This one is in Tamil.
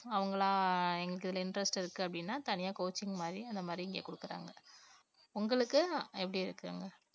அவங்களா எனக்கு இதுல interest இருக்கு அப்படின்னா தனியா coaching மாதிரி அந்த மாதிரி இங்க குடுக்குறாங்க. உங்களுக்கு எப்படி இருக்கு அங்க?